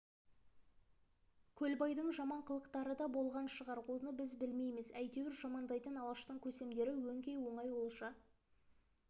көлбайдың жаман қылықтары да болған шығар оны біз білмейміз әйтеуір жамандайтын алаштың көсемдері өңкей оңай олжа